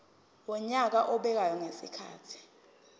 wonyaka obekwayo ngezikhathi